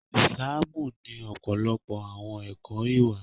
Islamu ni ọpọlọpọ àwọn ẹkọ ìwà.